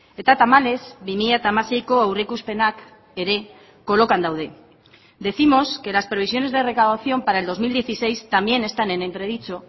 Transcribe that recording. eta tamalez bi mila hamaseiko aurreikuspenak ere kolokan daude decimos que las previsiones de recaudación para el dos mil dieciséis también están en entredicho